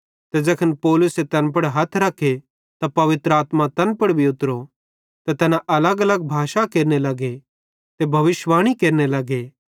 ते ज़ैखन पौलुसे तैन पुड़ हथ रखे त पवित्र आत्मा तैन पुड़ उतरी त तैना अलगअलग भाषा केरने लगे ते भविष्यिवाणी केरने लगे